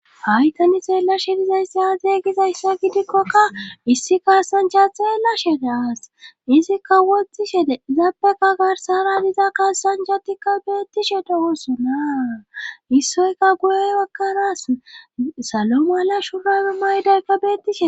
haytani xeella shidizay saaze gizayssa gidikkokka issi kaasancha xeellashede aas izikka woxxishe zabeka garsara diza kasancatikka beettishe dogosunaa issoyka guye akkaraas salo mala shurawi maydaykka bettishe